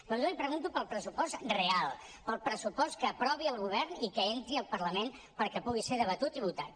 però jo li pregunto pel pressupost real pel pressupost que aprovi el govern i que entri al parlament perquè pugui ser debatut i votat